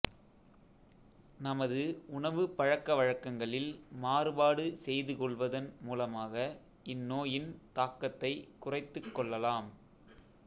நமது உணவு பழக்க வழக்கங்களில் மாறுபாடு செய்து கொள்வதன் மூலமாக இந்நோயின் தாக்கத்தைக் குறைத்துக் கொள்ளலாம்